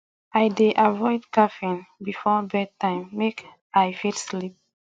i dey avoid caffeine before bedtime make i fit sleep well